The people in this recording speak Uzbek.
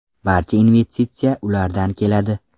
Barcha investitsiya ulardan keladi.